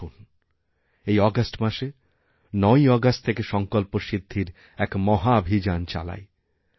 আসুন এই আগস্ট মাসে ৯ আগস্ট থেকে সঙ্কল্পসিদ্ধির এক মহাভিযান চালাই